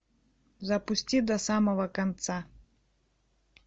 запусти до самого конца